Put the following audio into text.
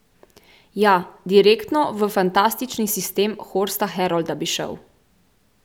Ja, direktno v fantastični sistem Horsta Herolda bi šel.